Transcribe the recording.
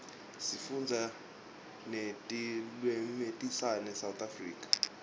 sifunda netilwimitase south africa